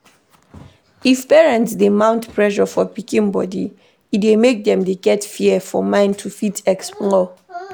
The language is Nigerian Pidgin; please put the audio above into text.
If parents dey mount pressure for pikin body, e dey make dem get fear for mind to fit explore